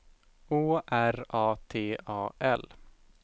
Å R A T A L